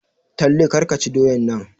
Talle kar ka ci doyan nan!